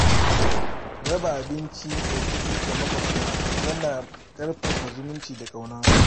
Raba abinci da kuɗi ga maƙwabta yana ƙarfafa zumunci da ƙauna.